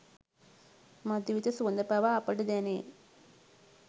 මධුවිත සුවඳ පවා අපට දැනේ.